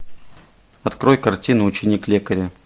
открой картину ученик лекаря